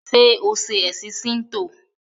ṣe o ṣe ẹsìn Shinto?